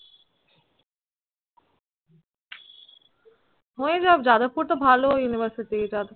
হয়ে যাবে যাদবপুর তো ভালো university